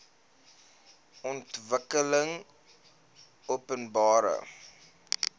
ontwikkelingopenbare